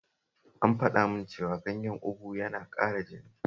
An faɗa min cewa ganyen ugu yana ƙara jini